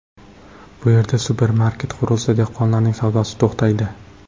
Bu yerda supermarket qurilsa, dehqonlarning savdosi to‘xtaydi.